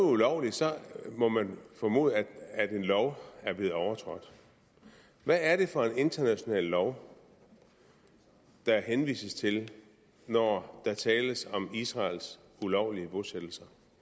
ulovligt så må man formode at en lov er blevet overtrådt hvad er det for en international lov der henvises til når der tales om israels ulovlige bosættelser